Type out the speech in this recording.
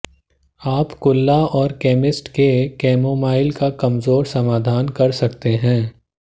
आप कुल्ला और केमिस्ट के कैमोमाइल का कमजोर समाधान कर सकते हैं